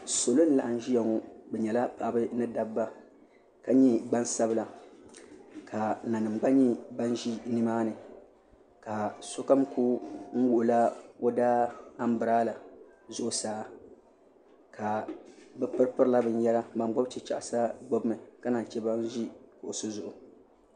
Salo n laɣam ʒiya ŋo bi nyɛla paɣaba ni dabba ka nyɛ gbansabila ka nanim gba ʒi nimaani ka sokam ku wuhula o daa anbirala zuɣusaa bi piri pirila binyɛra bin gbubi chichaɣasa gbubimi ka naan chɛ ban ʒi kuɣusi zuɣu